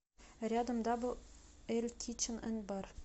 рядом дабл эль кичен энд бар